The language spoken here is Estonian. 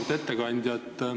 Auväärt ettekandja!